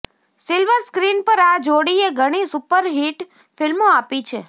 silver screen પર આ જોડીએ ઘણી સુપરહિટ ફિલ્મો આપી છે